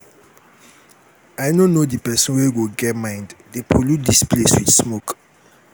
i no know the person wey go get mind dey pollute dis place with smoke